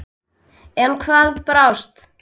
En hvað brást?